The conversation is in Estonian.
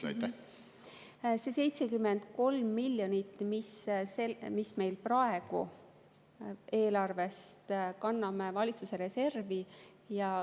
73 miljonit me kanname praegu eelarvest valitsuse reservi.